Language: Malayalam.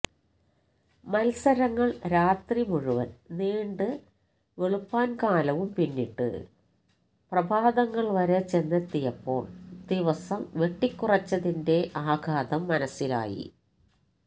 മത്സരങ്ങൾ രാത്രി മുഴുവൻ നീണ്ട് വെളുപ്പാൻകാലവും പിന്നിട്ട് പ്രഭാതങ്ങൾ വരെ ചെന്നെത്തിയപ്പോൾ ദിവസം വെട്ടിക്കുറച്ചതിന്റെ ആഘാതം മനസിലായി